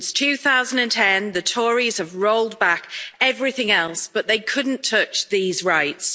Since 2010, the Tories have rolled back everything else, but they couldn't touch these rights.